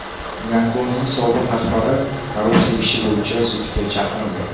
Gonkongning sobiq rahbari korrupsiya ishi bo‘yicha sudga chaqirildi .